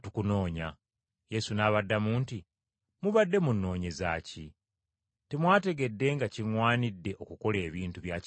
Yesu n’abaddamu nti, “Mubadde munnoonyeza ki? Temwategedde nga kiŋŋwanidde okukola ebintu bya Kitange?”